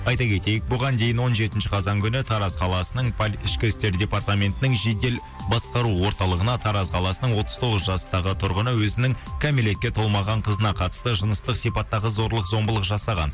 айта кетейік бұған дейін он жетінші қазан күні тараз қаласының ішкі істер департаментінің жедел басқару орталығына тараз қаласының отыз тоғыз жастағы тұрғыны өзінің кәмелетке толмаған қызына қатысты жыныстық сипаттағы зорлық зомбылық жасаған